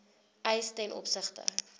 eis ten opsigte